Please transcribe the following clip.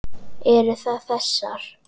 Eru það þessar?